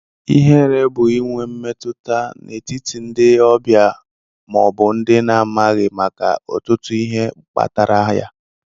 Ihere bú inwe mmetụta n'etiti ndị ọbịa maọbu ndị i na amaghị màkà ọtụtụ ihe kpatara ya.